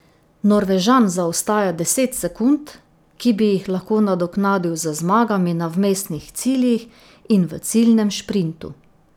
Norvežan zaostaja deset sekund, ki bi jih lahko nadoknadil z zmagami na vmesnih ciljih in v ciljnem šprintu.